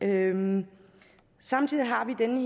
herinde samtidig har vi den